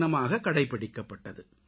தினமாக கடைபிடிக்கப்பட்டது